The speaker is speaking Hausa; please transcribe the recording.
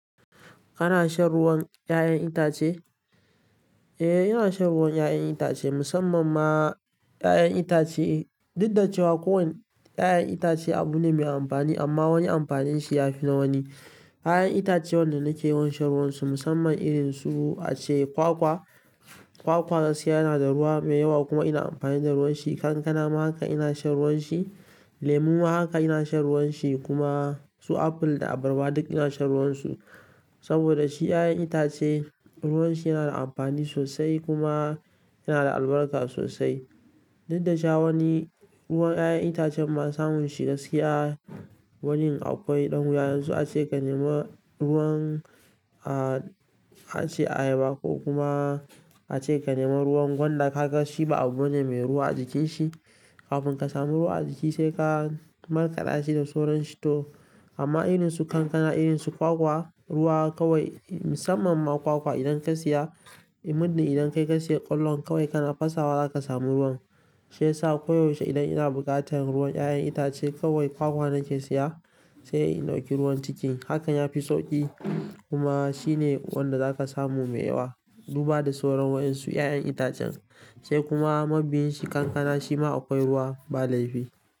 Kana shan ruwan 'ya'yan itace? Eh, ina shan ruwan 'ya'yan itace musamman ma 'ya'yan itace. Duk da cewa kowane 'ya'yan itace abu ne mai amfani amma wani amfanin shi ya fi na wani. 'Ya'yan itace wanda nake yawan shan ruwan su musamman irin su ace kwakwa. Kwakwa gaskiya yana da ruwa mai yawa kuma ina amfani da ruwan shi. Kankana ma haka ina shan ruwan shi, lemu ma haka ina shan ruwan shi kuma su aful da abarba duk ina shan ruwan su. Saboda shi 'ya'yan itace ruwan shi yana da amfani sosai kuma yana da albarka sosai. Duk da cewa wani ruwan 'ya'yan itacen ma samun shi gaskiya, wanin akwai ɗan wuya. Yanzu ace ka nema ruwan, ah, ace ayaba ko kuma ace ka nema ruwan gwanda. Kaga shi ba abu ba ne mai ruwa a jikin shi. Kafin ka sami ruwa a jiki sai ka markada shi da soran shi to. Amma irin su kankana, irin su kwakwa, ruwa kawai musamman ma kwakwa idan ka siya, in muddin idan kai ka siya ƙwallon kawai kana fasawa za ka samu ruwan. Shiyasa ko yaushe idan ina bukatan ruwan yayan itace kawai kwakwa nake siya sai in dauki ruwan ciki. Haka ya fi sauƙi kuma shi ne wanda za ka samu mai yawa duba da sauran wa'yansu 'ya'yan itacen. Sai kuma mabiyin shi kankana shi ma akwai ruwa ba laifi.